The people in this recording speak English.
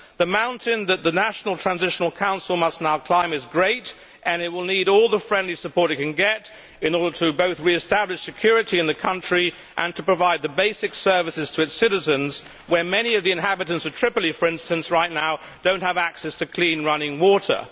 The mountain that the National Transitional Council must now climb is great, and it will need all the friendly support it can get in order both to re establish security in the country and to provide the basic services to its citizens, when right now many of the inhabitants of Tripoli, for instance, do not have access to clean running water.